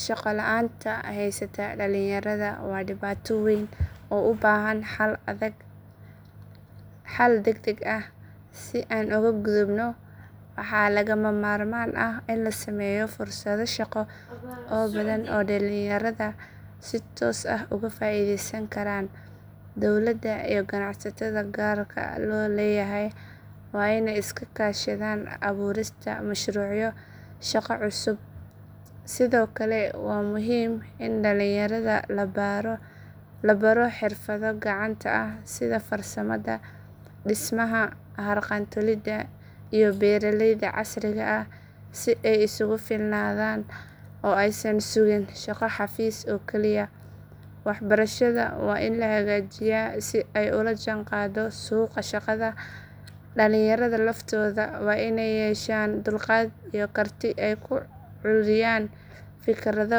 Shaqo la’aanta haysata dhalinyarada waa dhibaato weyn oo u baahan xal degdeg ah. Si aan uga gudubno, waxaa lagama maarmaan ah in la sameeyo fursado shaqo oo badan oo dhalinyarada si toos ah uga faa’iidaysan karaan. Dowladda iyo ganacsatada gaarka loo leeyahay waa inay iska kaashadaan abuurista mashruucyo shaqo oo cusub. Sidoo kale, waa muhiim in dhalinyarada la baro xirfado gacanta ah sida farsamada, dhismaha, harqaan tolida, iyo beeralayda casriga ah si ay isugu filnaadaan oo aysan sugin shaqo xafiis oo kaliya. Waxbarashada waa in la hagaajiyaa si ay ula jaanqaado suuqa shaqada. Dhalinyarada laftooda waa inay yeeshaan dulqaad iyo karti ay ku curiyaan fikrado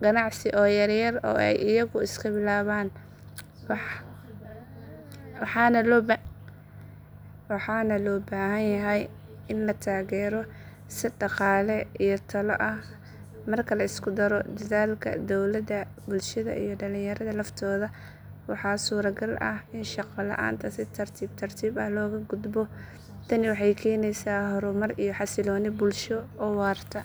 ganacsi oo yaryar oo ay iyagu iska bilaabaan, waxaana loo baahan yahay in la taageero si dhaqaale iyo talo ah. Marka la isku daro dadaalka dowladda, bulshada, iyo dhalinyarada laftooda, waxaa suuragal ah in shaqo la’aanta si tartiib tartiib ah looga gudbo. Tani waxay keenaysaa horumar iyo xasillooni bulsho oo waarta.